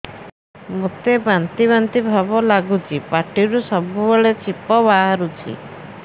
ମୋତେ ବାନ୍ତି ବାନ୍ତି ଭାବ ଲାଗୁଚି ପାଟିରୁ ସବୁ ବେଳେ ଛିପ ବାହାରୁଛି